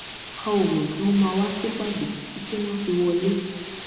a ò mọ pé wọn máa wá sípàdé títí wọn fi wọlé